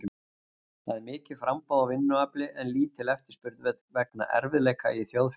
Það er mikið framboð á vinnuafli en lítil eftirspurn vegna erfiðleika í þjóðfélaginu.